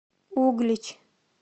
углич